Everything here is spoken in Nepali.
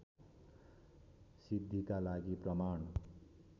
सिद्धिका लागि प्रमाण